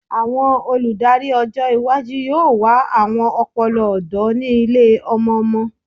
Awọn oludari ọjọ iwaju yoo wa awọn ọpọlọ ọdọ ni ile-ọmọ-ọmọ